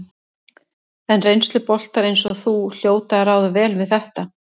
En reynsluboltar eins og þú hljóta að ráða vel við þetta?